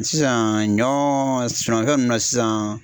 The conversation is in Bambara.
Sisan ɲɔ sɛnɛfɛn ninnu na sisan